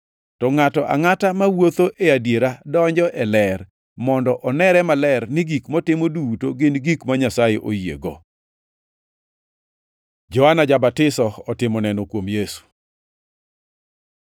To ngʼato angʼata mawuotho e adiera donjo e ler, mondo onere maler ni gik motimo duto gin gik ma Nyasaye oyiego.” Johana ja-Batiso otimo neno kuom Yesu